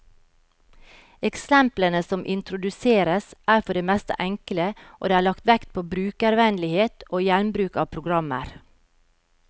Eksemplene som introduseres, er for det meste enkle, og det er lagt vekt på brukervennlighet og gjenbruk av programmer.